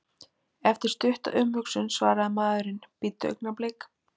Eftir stutta umhugsun svaraði maðurinn: Bíddu augnablik.